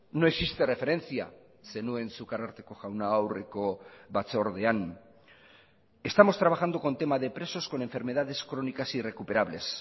no existe referencia zenuen zuk ararteko jauna aurreko batzordean estamos trabajando con tema de presos con enfermedades crónicas irrecuperables